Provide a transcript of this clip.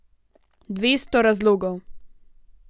Dvesto razlogov.